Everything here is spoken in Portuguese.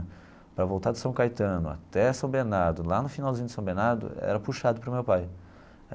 Para voltar de São Caetano até São Bernardo, lá no finalzinho de São Bernardo, era puxado para o meu pai.